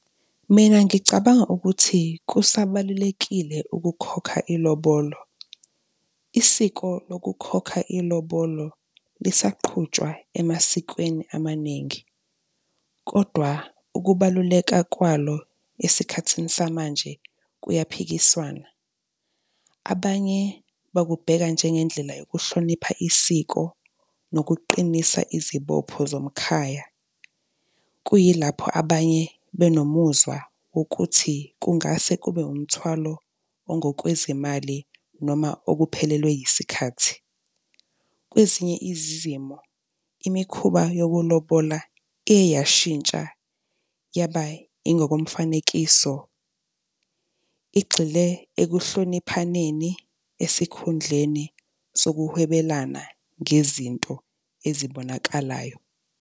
Mina ngicabanga ukuthi kusabalulekile ukukhokha ilobolo. Isiko lokukhokha ilobolo lisaqhutshwa emasikweni amaningi. Kodwa ukubaluleka kwalo esikhathini samanje kuyaphikiswana, abanye bakubheka njengendlela yokuhlonipha isiko nokuqinisa izibopho zomkhaya. Kuyilapho abanye benomuzwa wokuthi kungase kube umthwalo ongokwezimali noma okuphelelwe yisikhathi. Kwezinye izimo imikhuba yokulobola iye yashintsha yaba ingokomfanekiso, igxile ekuhloniphaneni esikhundleni sokuwhebelana ngezinto ezibonakalayo.